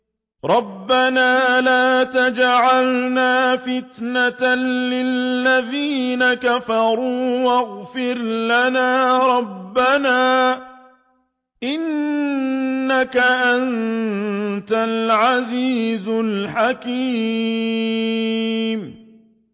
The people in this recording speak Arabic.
رَبَّنَا لَا تَجْعَلْنَا فِتْنَةً لِّلَّذِينَ كَفَرُوا وَاغْفِرْ لَنَا رَبَّنَا ۖ إِنَّكَ أَنتَ الْعَزِيزُ الْحَكِيمُ